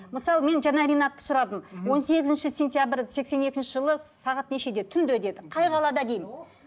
мысалы мен жаңа ринатты сұрадым он сегізінші сентябрь сексен екінші жылы сағат нешеде түнде деді қай қалада деймін